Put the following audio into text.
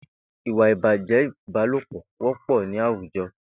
Ìwà ibájẹ̀ ibàlópọ wọpọ ni àwújọ